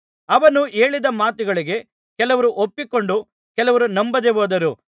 ಅವನು ಹೇಳಿದ ಮಾತುಗಳಿಗೆ ಕೆಲವರು ಒಪ್ಪಿಕೊಂಡರು ಕೆಲವರು ನಂಬದೆ ಹೋದರು